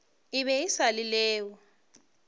e be e se leo